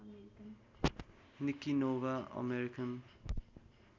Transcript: Nikki Nova American